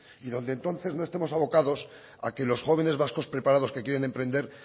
y donde entonces no estemos abocados a que los jóvenes vascos preparados que quieren emprender